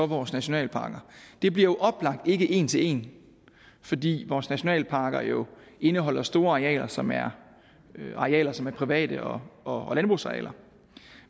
vores nationalparker det bliver oplagt ikke en til en fordi vores nationalparker jo indeholder store arealer som er arealer som er private og og landbrugsarealer